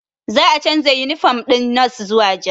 Za a canza yunifom ɗin nos zuwa ja